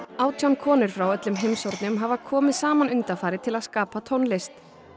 átján konur frá öllum heimshornum hafa komið saman undanfarið til að skapa tónlist